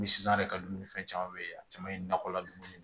Misi san yɛrɛ ka dumuni fɛn caman bɛ yen a caman ye nakɔla dumuni ye